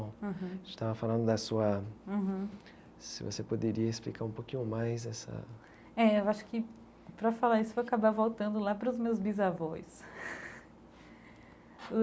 Uhum a gente estava falando da sua... uhum se você poderia explicar um pouquinho mais essa... É, eu acho que para falar isso vai acabar voltando lá para os meus bisavós.